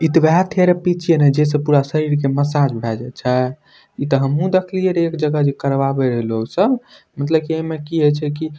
इ थेरेपी छै न जे से सब पूरा शरीर के मसाज भयले छै इ त हमु देखलएरी एक जगह जे करवा लोग सब मतलब की एमे की ए छै की --